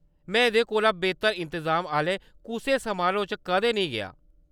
में एह्‌‌‌दे कोला बेहतर इंतजाम आह्‌ले कुसै समारोह् च कदें नेईं गेआ।